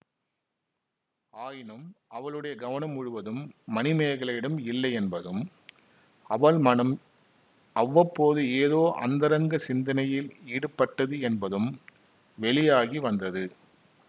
ஆயினும் அவளுடைய கவனம் முழுவதும் மணிமேகலையிடம் இல்லை என்பதும் அவள் மனம் அவ்வப்போது ஏதோ அந்தரங்க சிந்தனையில் ஈடுபட்டது என்பதும் வெளியாகி வந்தது